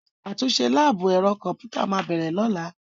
Àtúnṣe láàbù ẹ̀rọ kọ̀m̀pútà máa bẹ̀rẹ̀ lọ́la.